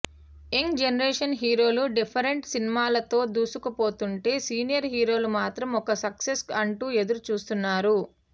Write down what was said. young generation హీరోలు different సినిమాలతో దూసుకుపోతుంటే సీనియర్ హీరోలు మాత్రం ఒక్క సక్సెస్ అంటూ ఎదురుచూస్తున్నారు